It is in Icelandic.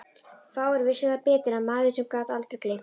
Fáir vissu það betur en maður sem gat aldrei gleymt.